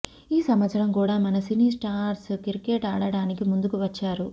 ఈ సంవత్సరం కూడా మన సినీ స్టార్స్ క్రికెట్ ఆడటానికి ముందుకు వచ్చారు